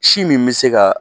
Si min be se kaa